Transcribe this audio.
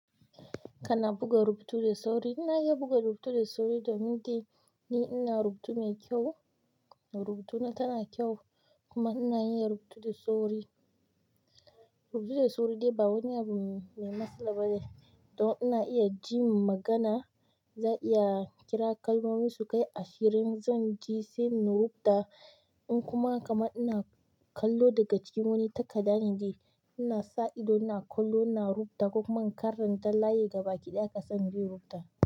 Kana buga rubutu da sauri? Ina iya buga rubutu da sauri domin dai ni ina rubutu mai kyau, rubutuna tana kyau kuma ina iya rubutu da sauri. Rubutu da sauri dai ba wani abu mai matsala ba ne. Don ina iya jin magana, za'a iya kira kalmomi su kai ashirin zan ji sai na rubuta. Ko kuma kaman ina kallo daga jiki wani takadda ne dai ina sa ido ina kallo ina rubuta ko kuma in karanta layi gabaki ɗaya haka sai in rubuta.